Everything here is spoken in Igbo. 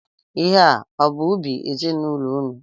Ihe a ọ bụ ubi ezinaụlọ ụnụ?